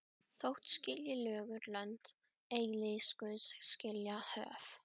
Þótt skilji lögur lönd, ei lýðs Guðs skilja höf.